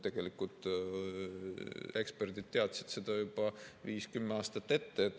Tegelikult eksperdid teadsid seda juba 5–10 aastat ette.